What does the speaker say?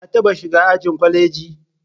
Ka taɓa shiga ajin kwaleji?